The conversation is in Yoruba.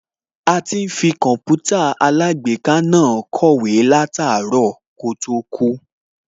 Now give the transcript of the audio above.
A ti ń fi Kọǹpútà alágbèéká náà kọ̀wé láàtárọ̀ kó tó kú